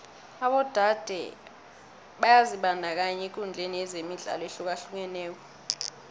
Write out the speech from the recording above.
abodade byazibandakanya ekudlaleni imidlalo ehlukahlukeneko